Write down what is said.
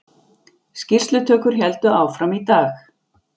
Skýrslutökur héldu áfram í dag